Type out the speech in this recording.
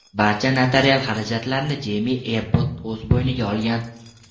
Barcha notarial xarajatlarni Jeymi Ebbot o‘z bo‘yniga olgan.